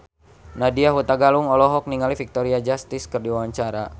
Nadya Hutagalung olohok ningali Victoria Justice keur diwawancara